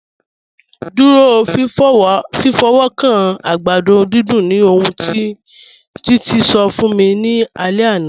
Dúró fífọ́wọ́kàn àgbàdọ̀ dídùn ni ọ̀hun tí Títí ṣọ̀ fún mí ní àlẹ̀ àná.